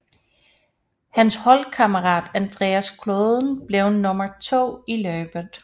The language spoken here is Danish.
Hans holdkammerat Andreas Klöden blev nummer to i løbet